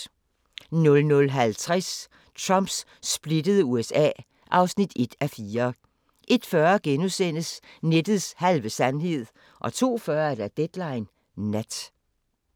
00:50: Trumps splittede USA (1:4) 01:40: Nettets halve sandhed * 02:40: Deadline Nat